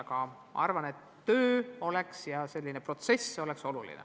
Samas arvan, et töö selle nimel ja arutlusprotsess oleks olulised.